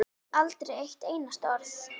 Aldrei eitt einasta orð.